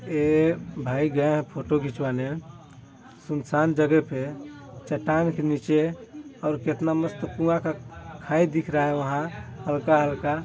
ये भाई गये है फोटो खींचवाने सुनसान जगह पे चट्टान के नीचे और कितना मस्त कुआं का खाई दिख रहा है वहाँ हल्का-हल्का--